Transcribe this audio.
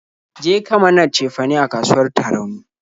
Je ka mana cefane a kasuwar Tarauni!